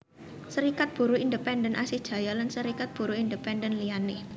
Serikat Buruh Independen Asih Jaya lan Serikat Buruh Independen liyané